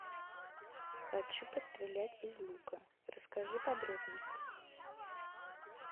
хочу пострелять из лука расскажи подробности